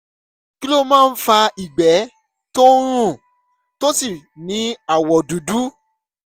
kí ló máa ń fa ìgbẹ́ tó ń rùn tó sì ní àwọ̀ dúdú?